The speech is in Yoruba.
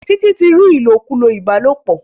Títí ti rí ilokulo ìbálòpọ̀